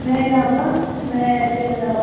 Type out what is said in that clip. ମେ ରେ ହବ ମେ ତିନ ରେ ହବ,